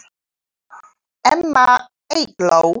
Amma Eygló.